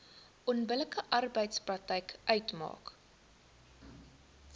onbillike arbeidspraktyk uitmaak